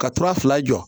Ka tura fila jɔ